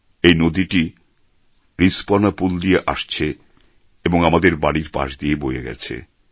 এই নদীটি রিস্পনা পুল দিয়ে আসছে এবং আমাদের বাড়ি পাশ দিয়ে বয়ে গেছে